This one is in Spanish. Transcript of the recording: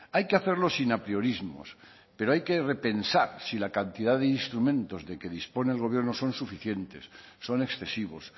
hay que hacerlo sin apriorismos pero hay que repensar si la cantidad de instrumentos de que dispone el gobierno son suficientes son excesivos